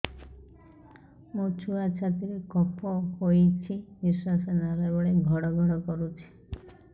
ମୋ ଛୁଆ ଛାତି ରେ କଫ ହୋଇଛି ନିଶ୍ୱାସ ନେଲା ବେଳେ ଘଡ ଘଡ କରୁଛି